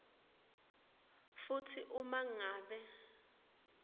futsi uma ngabe